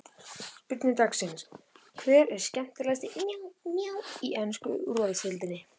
Spurning dagsins er: Hver er skemmtilegasti karakterinn í ensku úrvalsdeildinni?